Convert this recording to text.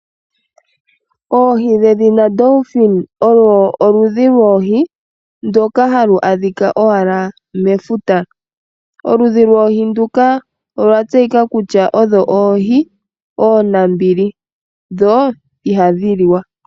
Oohi dhedhina dolphin olo olundhi lwoohi ndoka halu adhika owala mefuta. Olundhi lwoohi nduka olwa tseyika kutya odho oohi oonambili dho ohadhi liwa.